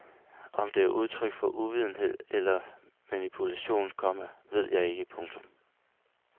Om det er udtryk for uvidenhed eller manipulation, komma ved jeg ikke. punktum